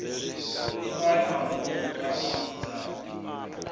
ni ṅwale mahumbulwa a mudzudzanyi